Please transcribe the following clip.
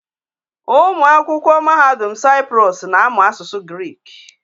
Ụmụ akwụkwọ Mahadum Saịprọs na-amụ asụsụ Grik.